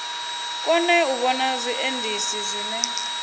kone u vhona zwiendisi zwine